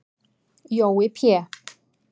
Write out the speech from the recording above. Jói Pé